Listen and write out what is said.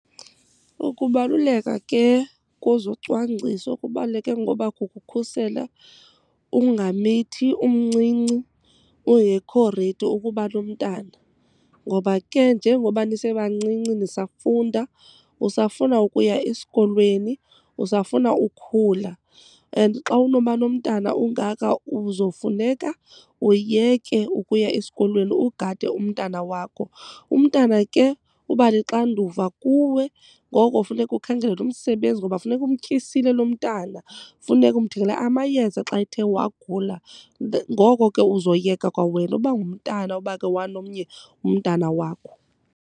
Ukubaluleka ke kozocwangciso kubaluleke ngoba kukukhusela ungamithi umncinci, ungekho ready ukuba nomntana. Ngoba ke njengoba nisebancinci nisafunda usafuna ukuya esikolweni, usafuna ukhula and xa unoba nomntana ungafaka uzofuneka uyeke ukuya esikolweni, ugade umntana wakho. Umntana ke uba lixanduva kuwe ngoko funeka ukhangele umsebenzi ngoba funeka umtyisile lo mntana, funeka umthengele amayeza xa ethe wagula. Ngoko ke uzoyeka kwawena uba ngumntana uba uke wanomnye umntana wakho.